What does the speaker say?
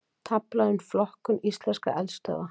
Tafla um flokkun íslenskra eldstöðva